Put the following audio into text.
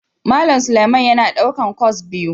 Malam Suleman yana daukar kwas biyu.